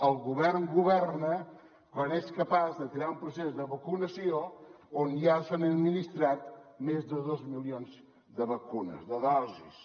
el govern governa quan és capaç de tirar un procés de vacunació on ja s’han administrat més de dos milions de vacunes de dosis